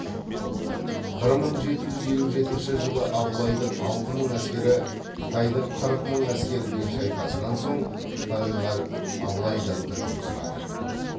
бір мың жеті жүз елу жетінші жылы абылайдың алты мың әскері қытайдың қырық мың әскерімен шайқасынан соң қытайлар абылайдан бітім сұрады